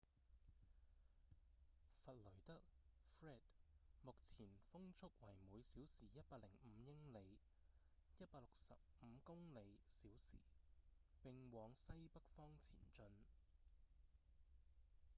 弗雷德 fred 目前風速為每小時105英里165公里／小時並往西北方前進